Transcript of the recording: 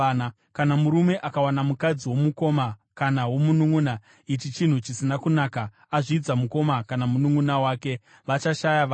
“ ‘Kana murume akawana mukadzi womukoma kana womununʼuna ichi chinhu chisina kunaka, azvidza mukoma kana mununʼuna wake. Vachashaya vana.